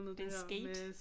En skate